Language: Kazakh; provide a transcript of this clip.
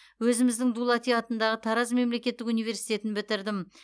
өзіміздің дулати атындағы тараз мемлекеттік университетін бітірдім